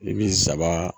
I bi zaban